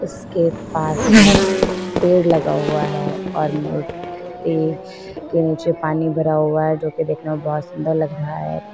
इसके पास में पेड़ लगा हुआ है और के नीचे पानी भरा हुआ है जो की देखने में बहोत सुंदर लग रहा है।